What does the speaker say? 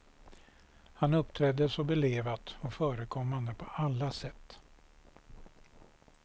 Han uppträdde så belevat och förekommande på alla sätt.